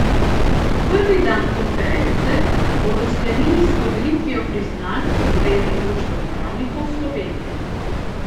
Prvi dan konference bodo sklenili s podelitvijo priznanj Zveze društev pravnikov Slovenije.